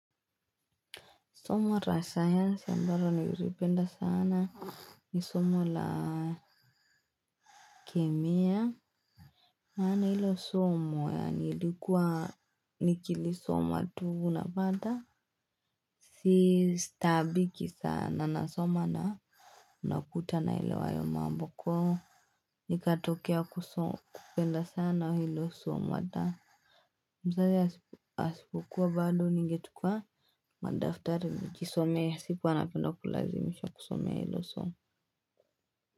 Somo la sayansi ambalo nilipenda sana ni somo la kemia. Na hilo somo yani nilikuwa nikilisoma tu napata. Si taabiki sana nasoma na nakuta naelewa hayo mambo kwa. Nikatokea kusoma kupenda sana hilo somo hata. Mzazi asipukuwa bado ningetukua. Madaftari nikisomea sikuwa napenda kulazimisha kusomea hilo somo.